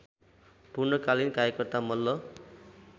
पूर्णकालीन कार्यकर्ता मल्ल